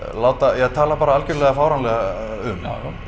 ja tala bara algjörlega fáránlega um já